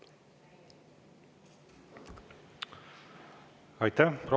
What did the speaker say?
Aitäh!